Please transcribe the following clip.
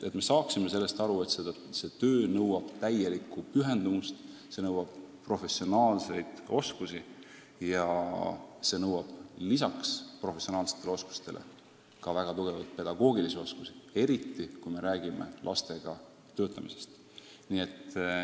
Me peame aru saama, et see töö nõuab täielikku pühendumust, see nõuab professionaalseid oskusi ja lisaks professionaalsetele oskustele ka väga häid pedagoogivõimeid, eriti kui me räägime lastega töötamisest.